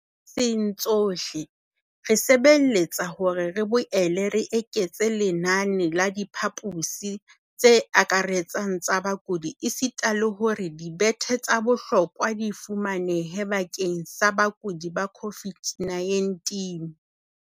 Diprovenseng tsohle, re sebeletsa hore re boele re eketse lenane la diphaposi tse akaretsang tsa bakudi esita le hore dibethe tsa bohlokwa di fumanehe bakeng sa bakudi ba COVID-19.